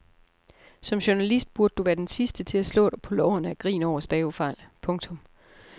Som journalist burde du være den sidste til at slå dig på lårene af grin over stavefejl. punktum